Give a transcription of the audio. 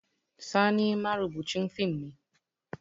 Sani marubucin fim ne